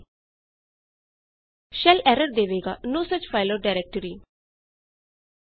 shell error ਦੇਵੇਗਾ no such file or directory ਐਸੀ ਕੋਈ ਫਾਇਲ ਜਾਂ ਡਾਇਰੈਕਟਰੀ ਮੌਜੂਦ ਨਹੀ ਹੈ